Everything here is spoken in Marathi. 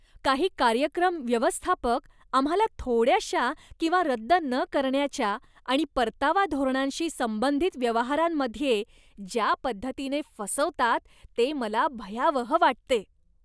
काही कार्यक्रम व्यवस्थापक आम्हाला थोड्याशा किंवा रद्द न करण्याच्या आणि परतावा धोरणांशी संबंधित व्यवहारांमध्ये ज्या पद्धतीने फसवतात ते मला भयावह वाटते.